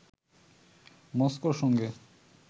মস্কোর সঙ্গে